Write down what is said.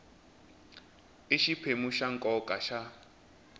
i xiphemu xa nkoka xa